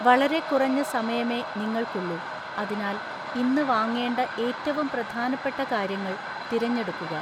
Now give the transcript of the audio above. വളരെ കുറഞ്ഞ സമയമേ നിങ്ങൾക്കുള്ളൂ, അതിനാൽ ഇന്ന് വാങ്ങേണ്ട ഏറ്റവും പ്രധാനപ്പെട്ട കാര്യങ്ങൾ തിരഞ്ഞെടുക്കുക.